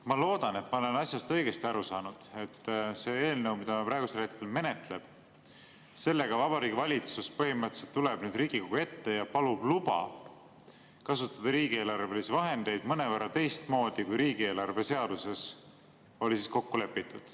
Ma loodan, et ma olen asjast õigesti aru saanud, et selle eelnõuga, mida me praegusel hetkel menetleme, Vabariigi Valitsus põhimõtteliselt tuleb Riigikogu ette ja palub luba kasutada riigieelarvelisi vahendeid mõnevõrra teistmoodi, kui riigieelarve seaduses oli kokku lepitud.